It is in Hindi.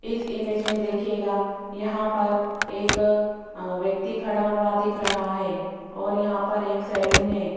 इस इमेज मे देखियेगा यहां पर एक व्यक्ति खड़ा हुआ दिख रहा है और यहां पर एक सलून है।